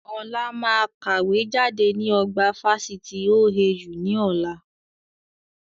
Ọlá máa kàwé jáde ní ọgbà Fáṣítì OAU ni ọ̀la